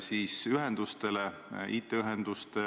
Mina küll toetan selle tunneli edasiarendamist.